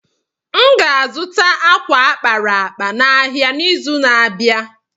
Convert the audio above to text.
M ga-azụta ákwà a kpara akpa n’ahịa n’izu na-abịa.